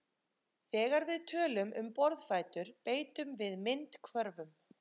þegar við tölum um borðfætur beitum við myndhvörfum